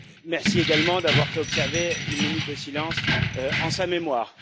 Merci également d'avoir fait observer une minute de silence en sa mémoire.